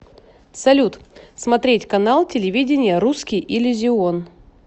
салют смотреть канал телевидения русский иллюзион